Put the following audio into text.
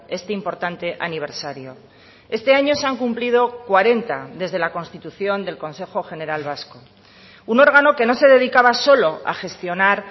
este importante aniversario este año se han cumplido cuarenta desde la constitución del consejo general vasco un órgano que no se dedicaba solo a gestionar